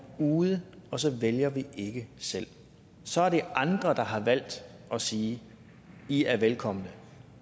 ude og så vælger vi ikke selv så er det andre der har valgt at sige i er velkomne